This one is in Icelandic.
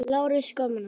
Garðar Jónsson